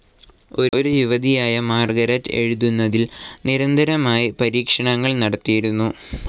ഒരു യുവതിയായ മാർഗരറ്റ് എഴുതുന്നതിൽ നിരന്തരമായി പരീക്ഷണങ്ങൾ നടത്തിയിരുന്നു.